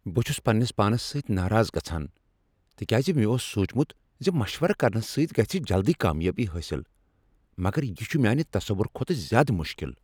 بہٕ چھس پننس پانس سۭتۍ ناراض گژھان تکیاز مےٚ اوس سوچمت ز مشورٕ کرنہٕ سۭتۍ گژھِ جلدی کامیٲبی حٲصل، مگر یہ چھ میانہ تصور کھوتہٕ زیادٕ مشکل۔